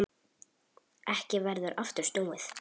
Ekki verður aftur snúið.